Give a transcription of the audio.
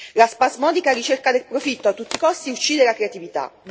La spasmodica ricerca del profitto a tutti i costi uccide la creatività.